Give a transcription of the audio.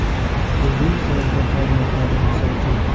Bugun savdo tarmoqlarimiz ochildi.